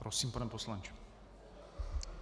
Prosím, pane poslanče.